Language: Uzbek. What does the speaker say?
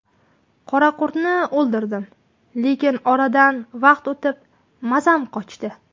Qoraqurtni o‘ldirdim, lekin oradan vaqt o‘tib mazam qochdi.